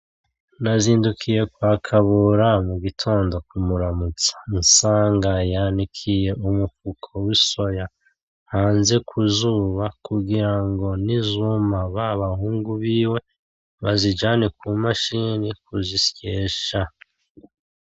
Nazindukiye kwa KABURA mu gitondo ku muramutsa nsanga yanikiye umufuko w'isoya hanze kuzuba kugirango nizuma babahungu biwe bazijane ku mashini kuzisyesha.